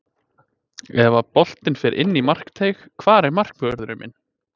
Ef að boltinn fer inn í markteig, hvar er markvörðurinn minn?